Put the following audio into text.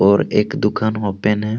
और एक दुकान ओपन है।